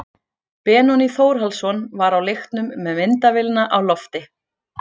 Benóný Þórhallsson var á leiknum með myndavélina á lofti.